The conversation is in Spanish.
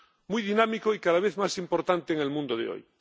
muy dinámico y cada vez más importante en el mundo de hoy.